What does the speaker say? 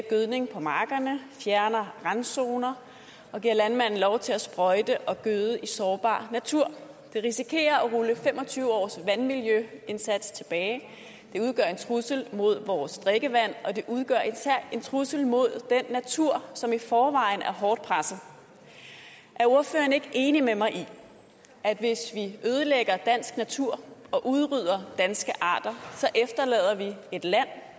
gødning på markerne fjerner randzoner og giver landmanden lov til at sprøjte og gøde i sårbar natur det risikerer at rulle fem og tyve års vandmiljøindsats tilbage det udgør en trussel mod vores drikkevand og det udgør især en trussel mod den natur som i forvejen er hårdt presset er ordføreren ikke enig med mig i at hvis vi ødelægger dansk natur og udrydder danske arter så efterlader vi et land